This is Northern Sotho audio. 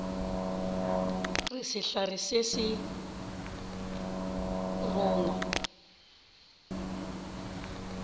re sehlare se a rongwa